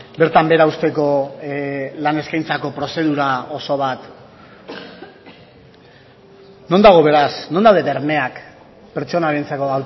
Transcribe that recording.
bertan behera uzteko lan eskaintzako prozedura oso bat non dago beraz non daude bermeak pertsonarentzako